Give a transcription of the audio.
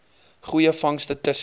goeie vangste tussen